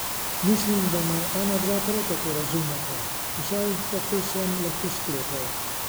Mislim, da me onadva prav tako razumeta, vsaj tako sem lahko sklepal.